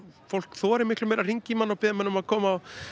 fólk þorir miklu meira að hringja í mann og biðja mann um að koma og